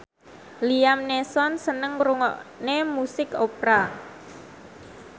Liam Neeson seneng ngrungokne musik opera